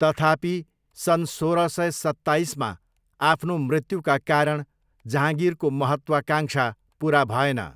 तथापि, सन् सोह्र सय सत्ताइसमा आफ्नो मृत्युका कारण, जहाँगिरको महत्त्वाकाङ्क्षा पुरा भएन।